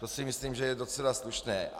To si myslím, že je docela slušné.